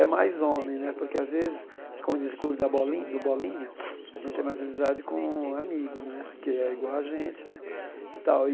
É mais homem né, porque, às vezes, como diz o clube da bolin do Bolinha, a gente tem mais amizade com amigo né, porque é igual a gente né e tal e.